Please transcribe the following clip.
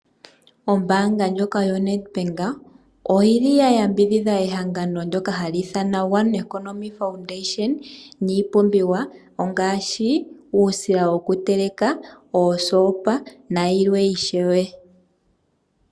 Ombaanga ndjoka yoNedbank, oyi li ya yambidhidha ehangano ndyoka hali ithanwa One Economic Foundation niipumbiwa ongaashi uusila wokuteleka, oosopa nayilwe ishewe.